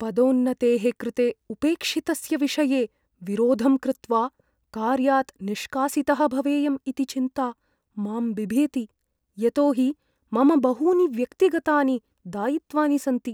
पदोन्नतेः कृते उपेक्षितस्य विषये विरोधं कृत्वा कार्यात् निष्कासितः भवेयम् इति चिन्ता मां बिभेति, यतो हि मम बहूनि व्यक्तिगतानि दायित्वानि सन्ति।